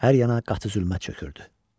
Hər yana qatı zülmət çökürdü.